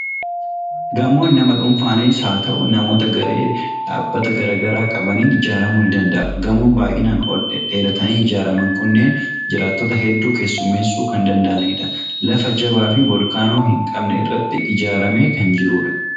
Gamoon nama dhuunfaanis haa ta'u, namoota garee dhaabbata garaa garaa qabaniin ijaaramuu ni danda'a. Gamoon baay'inaan ol dhedheeratanii ijaaraman kunneen, jiraattota hedduu keessummeessuu kan danda'udha. Lafa jabaa fi Volkaanoo hin qabne irratti ijaaramee kan jirudha.